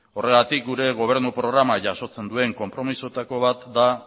horregatik gure gobernu programak jasotzen duen konpromesuetako bat da